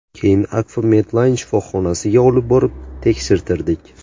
Keyin Akfa Medline shifoxonasiga olib borib tekshirtirdik.